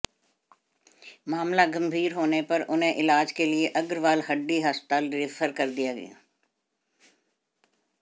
मामला गंभीर होने पर उन्हें इलाज के लिए अग्रवाल हड्डी अस्पताल रेफर कर दिया